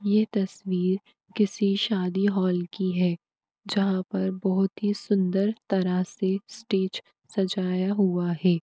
यह तस्वीर किसी शादी हॉल की है जहां पर बहुत ही सुंदर तरह से स्टेज सजाया हुआ है ।